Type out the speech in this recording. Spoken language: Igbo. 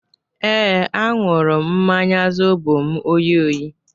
Ee, ahụrụ m mmanya zobo m oyi oyi